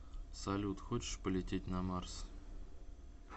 салют хочешь полететь на марс